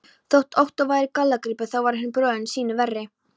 Þótt Ottó væri gallagripur, þá var hinn bróðirinn sýnu verri.